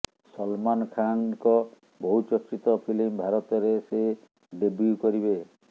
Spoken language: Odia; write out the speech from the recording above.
ସଲମାନ ଖାନଙ୍କ ବହୁ ଚର୍ଚ୍ଚିତ ଫିଲ୍ମ ଭାରତରେ ସେ ଡେବ୍ୟୁ କରିବେ